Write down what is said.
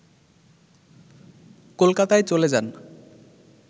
কলকাতায় চলে যান